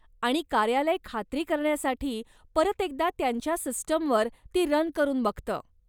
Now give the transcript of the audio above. आणि कार्यालय खात्री करण्यासाठी परत एकदा त्यांच्या सिस्टमवर ती रन करून बघतं.